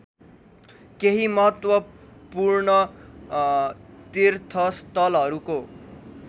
केही महत्त्वपूर्ण तीर्थस्थलहरूको